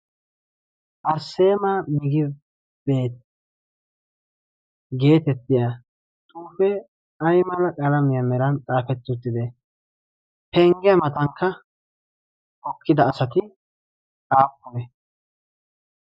arsseema migibeet geetettiya xuufee aymala qalaamiyaa meran xaafetti uttide penggiya matankka hokkida asati xaappune